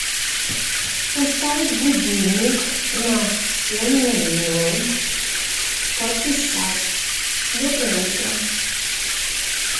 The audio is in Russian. поставить будильник на семь ноль ноль подписать доброе утро